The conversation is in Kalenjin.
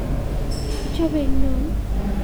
Ichobe ne eng yon?